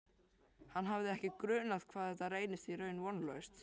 Hann hafði ekki grunað hvað þetta reynist í raun vonlaust.